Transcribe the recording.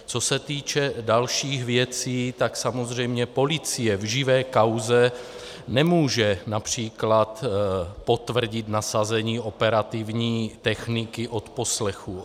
Co se týče dalších věcí, tak samozřejmě policie v živé kauze nemůže například potvrdit nasazení operativní techniky odposlechu.